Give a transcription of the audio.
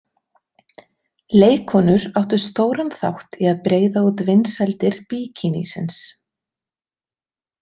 Leikkonur áttu stóran þátt í að breiða út vinsældir bikinísins.